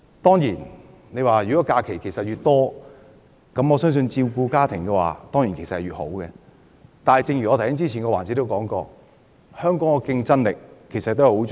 當然，侍產假越長，對於照顧家庭便越好，但正如我在上一環節說過，香港的競爭力也十分重要。